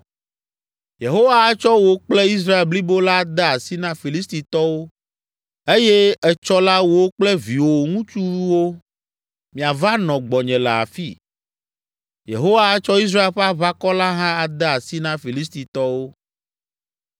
Yehowa atsɔ wò kple Israel blibo la ade asi na Filistitɔwo eye etsɔ la wò kple viwò ŋutsuwo miava nɔ gbɔnye le afii. Yehowa atsɔ Israel ƒe aʋakɔ la hã ade asi na Filistitɔwo.”